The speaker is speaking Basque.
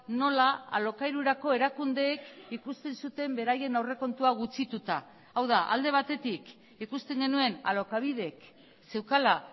nola alokairurako erakundeek ikusten zuten beraien aurrekontua gutxituta hau da alde batetik ikusten genuen alokabidek zeukala